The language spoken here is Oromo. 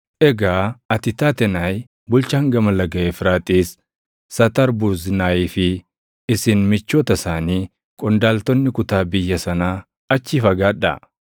Egaa ati Taatenaayi bulchaan Gama Laga Efraaxiis, Satarbuznaayii fi isin michoota isaanii qondaaltonni kutaa biyya sanaa achii fagaadhaa.